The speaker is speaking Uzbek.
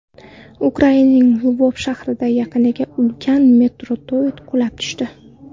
Ukrainaning Lvov shahri yaqiniga ulkan meteorit qulab tushdi.